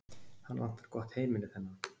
Hann vantar gott heimili, þennan.